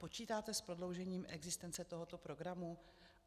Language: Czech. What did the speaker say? Počítáte s prodloužením existence tohoto programu?